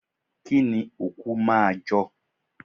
Kínni òkú máa jọ?